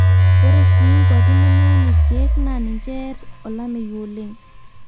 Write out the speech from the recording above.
ore sii nkuapi nemeun ilkiek naa ninche eer olameyu oleng